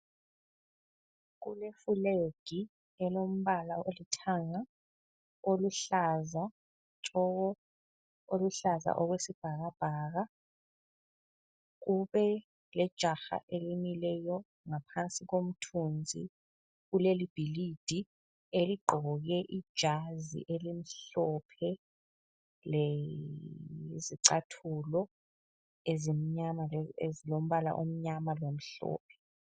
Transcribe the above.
Kulefulegi elombala olithanga, oluhlaza tshoko, oluhlaza okwesibhakabhaka. Kubelejaha elimileyo ngaphansi komthunzi kuleli bhilidi, eligqoke ijazi elimhlophe lezicathulo ezimnyama, ezilombala omnyama lomhlophe.